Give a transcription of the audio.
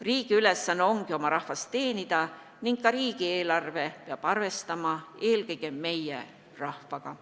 Riigi ülesanne ongi oma rahvast teenida ning ka riigieelarve peab arvestama eelkõige meie rahvaga.